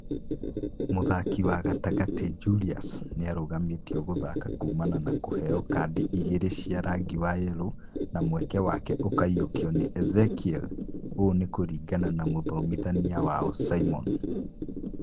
Mũthaki wa gatagati Julius nĩarũgamĩtio gũthaka kumana na kũheo kadi igĩrĩ cia rangi wa Yellow na mweke wake ũkaiyũkio nĩ Ezekiel,ũ nĩ kũringana na mũthomithania wao Simon